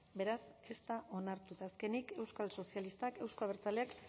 beraz ez da onartu eta azkenik euskal sozialistak euzko abertzaleak